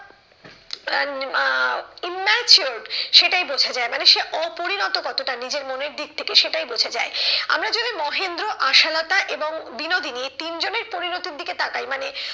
আহ আহ immature সেটাই বোঝা যায় মানে সে অপরিণত কতটা নিজের মনের দিক থেকে সেটাই বোঝা যায়। আমরা যদি মহেন্দ্র, আশালতা এবং বিনোদিনী এই তিনজনের পরিণতির দিকে তাকাই মানে,